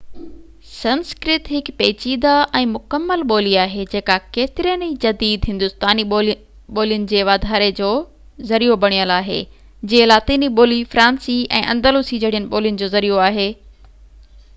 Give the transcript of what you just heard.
سنسڪرت هڪ پيچيده ۽ مڪمل ٻولي آهي جيڪا ڪيترين ئي جديد هندوستاني ٻولين جي واڌاري جو ذريعو بڻيل آهي جيئن لاطيني ٻولي فرانسي ۽ اندلسي جهڙين ٻولين جو ذريعو آهي